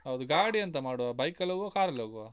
ಹೌದು, ಗಾಡಿ ಎಂತ ಮಾಡುವ bike ಹೋಗ್ವಾ ಕಾರಲ್ಲಿ ಹೋಗ್ವಾ?